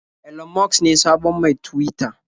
Elon Musk ne sabon mai Tuwita.